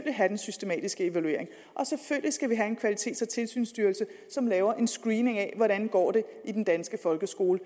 have den systematiske evaluering og selvfølgelig skal vi have en kvalitets og tilsynsstyrelse som laver en screening af hvordan det går i den danske folkeskole